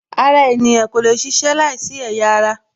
Ara ènìyàn kò lè ṣiṣẹ́ láìsí ẹ̀yà ara